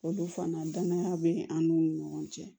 Olu fana danaya be an n'u ni ɲɔgɔn cɛ